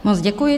Moc děkuji.